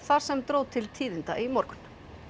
þar sem dró til tíðinda í morgun